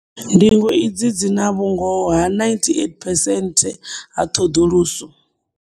Ndingo idzi dzi na vhu ngoho ha 98 percent ha ṱhoḓuluso.